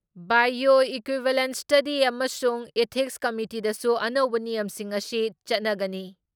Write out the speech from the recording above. Bio equivalence ꯏꯁꯇꯗꯤ ꯑꯃꯁꯨꯡ ethics ꯀꯃꯤꯇꯤꯗꯁꯨ ꯑꯅꯧꯕ ꯅꯤꯌꯝꯁꯤꯡ ꯑꯁꯤ ꯆꯠꯅꯒꯅꯤ ꯫